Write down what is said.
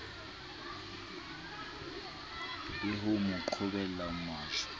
le ho mo qhobella majwe